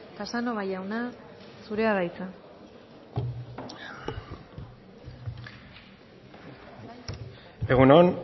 casanova jauna zurea da hitza egun on